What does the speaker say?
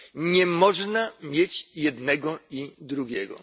nie można mieć jednego i drugiego.